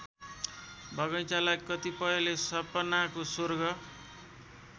बगैंचालाई कतिपयले सपनाको स्वर्ग